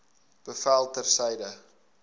bevel ter syde